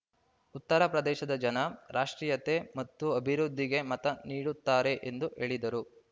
ಉತ್ತರ ಪ್ರದೇಶದ ಜನ ರಾಷ್ಟ್ರೀಯತೆ ಮತ್ತು ಅಭಿವೃದ್ಧಿಗೆ ಮತ ನೀಡುತ್ತಾರೆ ಎಂದು ಹೇಳಿದರು